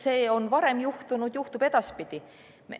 Seda on varem juhtunud, juhtub ka edaspidi.